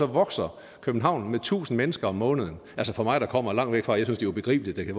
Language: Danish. vokser københavn med tusind mennesker om måneden for mig der kommer langt væk fra er det ubegribeligt at det